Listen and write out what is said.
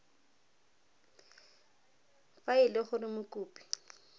fa e le gore mokopi